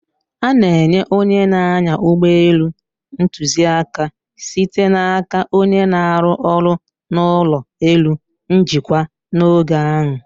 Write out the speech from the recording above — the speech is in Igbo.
A na-enye onye na-anya ụgbọ elu ntuziaka, site n'aka onye na-arụ ọrụ n'ụlọ elu njikwa, n'oge ahụ.